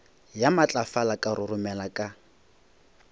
ya matlafala ka roromela ka